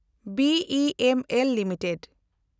B E M L limited